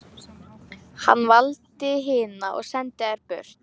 Hann valdi hina og sendi þær burt.